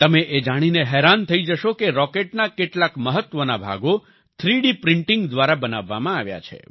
તમે એ જાણીને હેરાન થઈ જશો કે રોકેટના કેટલાક મહત્વના ભાગો 3ડીપ્રિન્ટિંગ દ્વારા બનાવવામાં આવ્યા છે